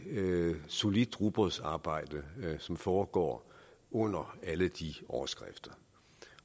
solidt rugbrødsarbejde som foregår under alle de overskrifter